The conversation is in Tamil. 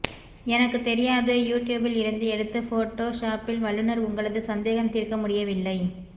எனக்குத் தெரியாது யூ ட்யூபில் இருந்து எடுத்தது ஃபோடோ ஷாப்பில் வல்லுனர் உங்களது சந்தேகம்தீர்க்க முடியவில்லை